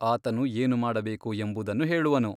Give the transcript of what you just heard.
ಆತನು ಏನು ಮಾಡಬೇಕು ಎಂಬುದನ್ನು ಹೇಳುವನು.